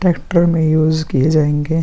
Tractor में use किए जायेंगे ।